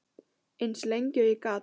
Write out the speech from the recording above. Eins lengi og ég gat.